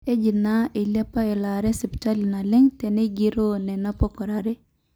eji naa eilepa elaare esipitali naleng tenegiroo nena pokirare